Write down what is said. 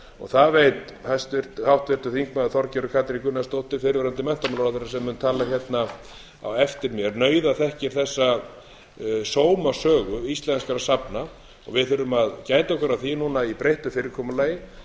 það veit háttvirtur þingmaður þorgerður katrín gunnarsdóttir fyrrverandi menntamálaráðherra sem mun tala hérna á eftir mér nauðaþekkir þessa sómasögu íslenskra safna við þurfum að gæta okkar á því núna í breyttu fyrirkomulagi